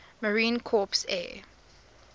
marine corps air